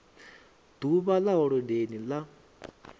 d uvha ḽa holodeni ḽa